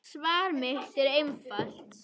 Svar mitt er einfalt